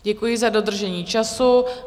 Děkuji za dodržení času.